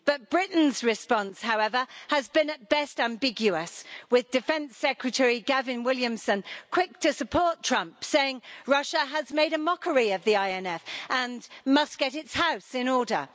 Britain's response, however, has been at best ambiguous, with Defence Secretary Gavin Williamson quick to support Trump, saying Russia has made a mockery of the INF Treaty and must get its house in order.